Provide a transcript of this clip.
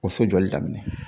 O so jɔli daminɛ